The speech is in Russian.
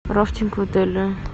рафтинг в отеле